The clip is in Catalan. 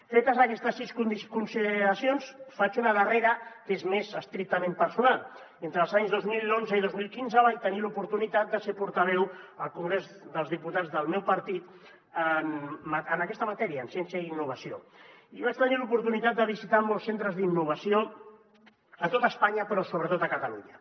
fetes aquestes sis consideracions en faig una de darrera que és més estrictament personal entre els anys dos mil onze i dos mil quinze vaig tenir l’oportunitat de ser portaveu al congrés dels diputats del meu partit en aquesta matèria en ciència i innovació i vaig tenir l’oportunitat de visitar molts centres d’innovació a tot espanya però sobretot a catalunya